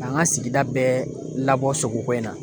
K'an ka sigida bɛɛ labɔ sogoko in na